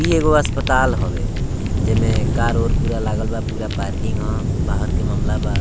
इ एगो अस्पताल हवे जे में पुरा कार उर लागल बा पुरा पार्किंग ह बाहर के मामला बा।